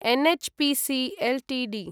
NHPC Ltd